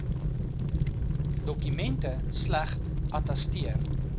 dokumente slegs attesteer